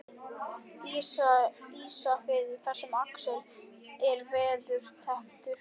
Ísafirði þar sem Axel er veðurtepptur.